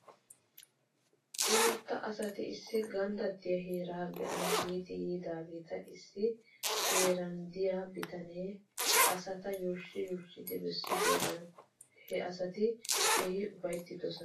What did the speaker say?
Imatta asati issi ganddattiyaa heeraa be'ana giidi yiidaageeta issi he heeran de'iyaa bitanee he asata yuushshi yuushshidi bessidoogan he asati keehi ufayttidosona